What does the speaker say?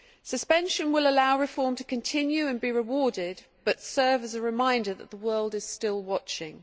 Suspension will allow reform to continue and be rewarded but serve as a reminder that the world is still watching.